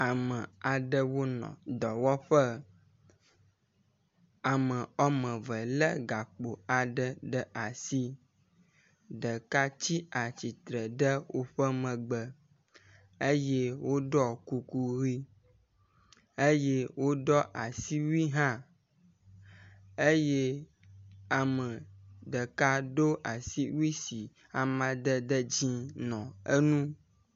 Ame aɖewo nɔ dɔwɔƒe. Ame wɔme eve le gakp aɖe ɖe asi. Ɖeka tsi atsitre ɖe woƒe megbe eye woɖɔ kuku ʋi eye woɖɔ asiwui hã eye ame ɖeka do asiwui si amadede dzi nɔ enu.